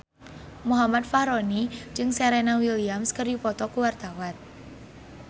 Muhammad Fachroni jeung Serena Williams keur dipoto ku wartawan